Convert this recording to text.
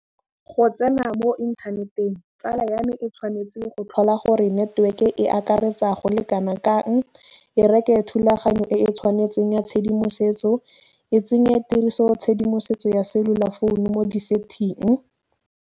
Go tsena mo inthaneteng tsala ya me e tshwanetseng go tlhola gore network e akaretsa go le kana kang, e reke thulaganyo e e tshwanetseng ya tshedimosetso, e tsenye tshedimosetso ya cellular founu mo di-setting.